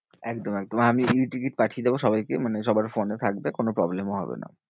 একদম একদম আমি টিকিট পাঠিয়ে দেব সবাইকে মানে সবার ফোনে থাকবে কোনো problem ও হবে না।